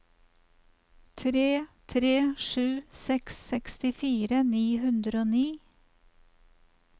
tre tre sju seks sekstifire ni hundre og ni